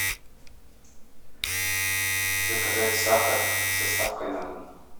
заказать сахар с доставкой на дом